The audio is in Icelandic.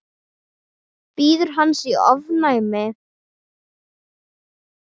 Bíður hans í ofvæni.